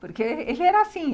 Porque ele era assim.